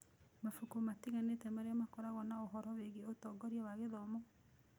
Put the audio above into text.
Mabuku matiganĩte marĩa makoragwo na ũhoro wĩgiĩ ũtongoria wa gĩthomo.